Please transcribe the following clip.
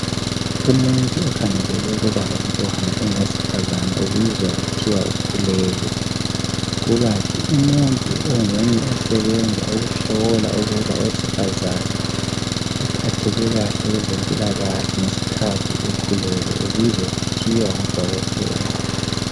Umuntu okhangelele ukuba lomntwana engowesifazana ubizwa kuthiwa ukhulelwe kukanti umuntu onguye osebenza ukuhlola ukuba owesifazane uphatheke kahle kwezempilakahle ngesikhathi ekhulelwe ubizwa kuthiwa ngu dokotela.